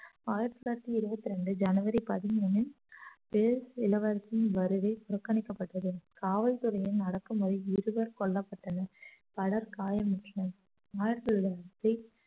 ஆயிரத்தி தொள்ளாயிரத்தி இருவத்தி ரெண்டு ஜனவரி பதிமூனில் இளவரசியின் வருகை புறக்கணிக்கப்பட்டது காவல்துறையின் அடக்குமுறை இருவர் கொல்லப்பட்டனர் பலர் காயமுற்றனர் ஆயிரத்தி தொள்ளாயிரத்தி